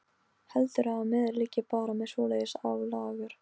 Heldurðu að maður liggi bara með svoleiðis á lager.